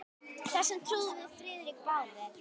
Þessu trúðum við Friðrik báðir.